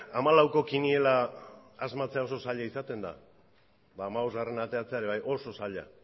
ba hamalauko kiniela asmatzea oso zaila izaten da ba hamabosgarrena ateratzea ere bai oso zaila